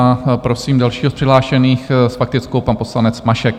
A prosím dalšího z přihlášených, s faktickou pan poslanec Mašek.